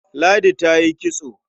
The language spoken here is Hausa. Ladi ta yi kitso.